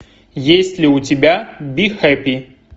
есть ли у тебя би хэппи